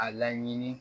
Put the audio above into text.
A laɲini